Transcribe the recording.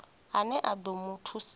ane a ḓo mu thusa